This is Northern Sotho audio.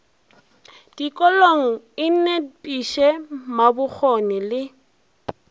dikolong e nepiše mabokgone le